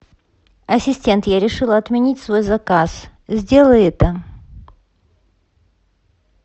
ассистент я решила отменить свой заказ сделай это